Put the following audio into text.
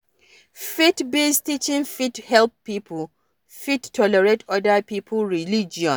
Faith based teaching fit help pipo fit tolerate oda pipo religion